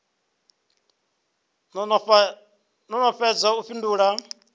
no no fhedza u fhindula